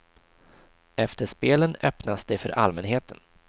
Efter spelen öppnas det för allmänheten.